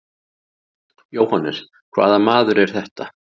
JÓHANNES: Hvaða maður er þetta?